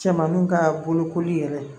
Cɛmaninw kaa bolokoli yɛrɛ